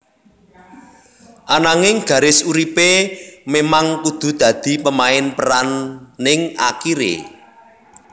Ananging garis uripé memang kudu dadi pemain peran ning akiré